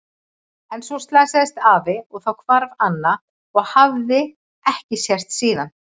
En svo slasaðist afi og þá hvarf Anna og hafði ekki sést síðan.